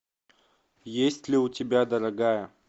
есть ли у тебя дорогая